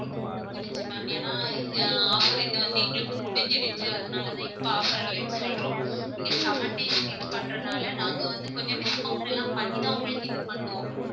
முடிஞ்சிருச்சு ma'am என்னா ஆஹ் offer இது வந்து எங்களுக்கு முடிஞ்சிருச்சு அதனாலதான் இப்ப offer இல்லன்னு சொல்றோம். நீங்க seven days க்கு இது பண்றதனால நாங்க கொஞ்சம் discount எல்லாம் பண்ணி தான் உங்களுக்கு இது பண்ணுவோம்